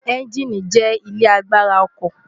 ẹ́ńgíìnì jẹ́ ilé agbára ọkọ̀